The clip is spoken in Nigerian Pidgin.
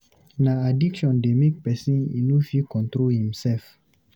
Na addiction dey make pesin e no fit control im sef.